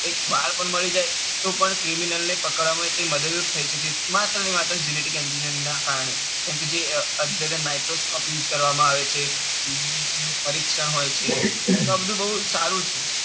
એક વાળ પણ મળી જાય તો પણ criminal ને પકડવામાં મદદરૂપ થઇ શકે છે. માર્ટને માત્ર genetic engineering ના કારણે કમ કે અત્યારે microscope use કરવામાં આવે છે પરીક્ષણ હોય છે. તો આ બધું બૌ જ સારું છે.